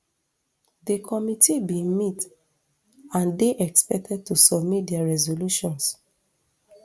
di committee bin meet and dey expected to submit dia resolutions